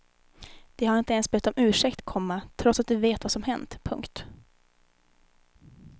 De har inte ens bett om ursäkt, komma trots att de vet vad som hänt. punkt